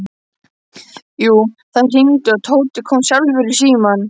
Jú, það hringdi og Tóti kom sjálfur í símann.